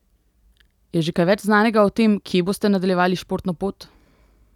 Je že kaj več znanega o tem, kje boste nadaljevali športno pot?